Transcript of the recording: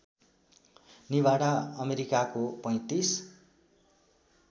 निभाडा अमेरिकाको ३५